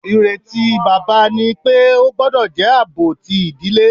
Ireti baba ni pe o gbọdọ jẹ aabo ti idile.